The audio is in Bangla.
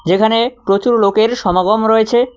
এখানে প্রচুর লোকের সমাগম রয়েছে।